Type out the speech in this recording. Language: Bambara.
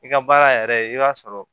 I ka baara yɛrɛ i b'a sɔrɔ